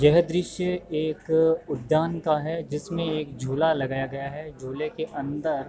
यह दृश्य एक उद्यान का है जिसमें एक झूला लगाया गया है। झूले के अंदर --